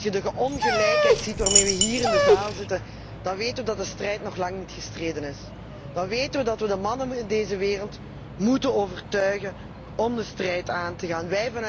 Als je de ongelijkheid ziet waarmee we hier in de zaal zitten, dan weten we dat de strijd nog lang niet gestreden is, dan weten we dat we de mannen in deze wereld ervan moeten overtuigen om de strijd aan te gaan.